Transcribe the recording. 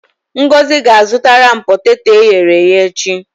Ngozi ga-azụtara m poteto e ghere-eghe echi.